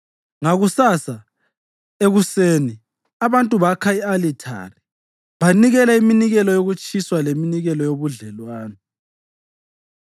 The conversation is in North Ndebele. Ngakusasa ekuseni abantu bakha i-alithari banikela iminikelo yokutshiswa leminikelo yobudlelwano.